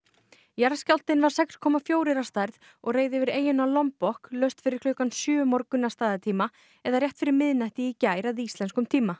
jarðskjálftinn var sex komma fjórar að stærð og reið yfir eyjuna laust fyrir klukkan sjö um morgun að staðartíma eða rétt fyrir miðnætti í gær að íslenskum tíma